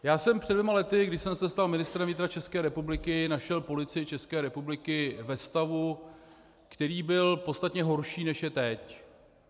Já jsem před dvěma lety, když jsem se stal ministrem vnitra České republiky, našel Policii České republiky ve stavu, který byl podstatně horší, než je teď.